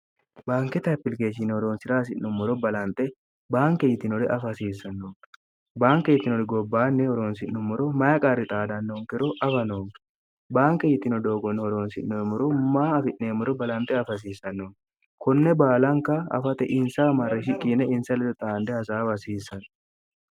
baanke taphiligeehchine oroonsi're hasi'nommoro balanxe baanke yitinore afa hasiissanno baanke yitinori gobbaanni oroonsi'nommoro maya qarri xaadannoonkero afanoo baanke yitino doogonno horoonsi'noemmoro maa afi'neemmoro balanxe afa hasiissannonn kunne baalanka afate insa amarri shi qiine insa ledo xaande hasaafa hasiissanno